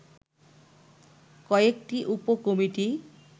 কয়েকটি উপ কমিটি